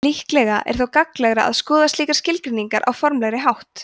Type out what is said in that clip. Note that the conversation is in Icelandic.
líklega er þó gagnlegra að skoða slíkar skilgreiningar á formlegri hátt